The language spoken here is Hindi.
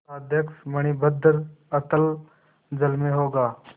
पोताध्यक्ष मणिभद्र अतल जल में होगा